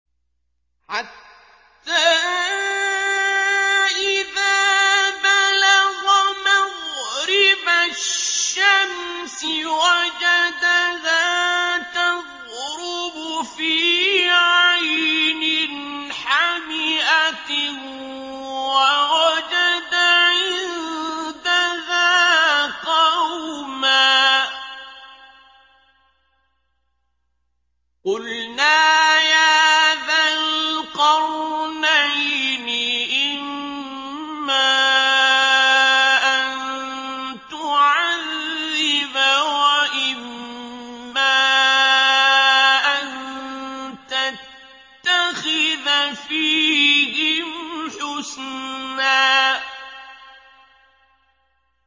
حَتَّىٰ إِذَا بَلَغَ مَغْرِبَ الشَّمْسِ وَجَدَهَا تَغْرُبُ فِي عَيْنٍ حَمِئَةٍ وَوَجَدَ عِندَهَا قَوْمًا ۗ قُلْنَا يَا ذَا الْقَرْنَيْنِ إِمَّا أَن تُعَذِّبَ وَإِمَّا أَن تَتَّخِذَ فِيهِمْ حُسْنًا